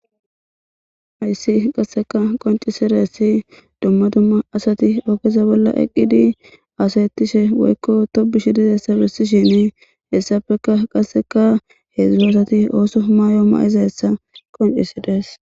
Haysi qaseka qoncisidaysi duma duma asati ogeza bolla eqidi hadayishenne tobishe dishini hesappeka hezhu asati ooso mayo mayizaysa qoncisides.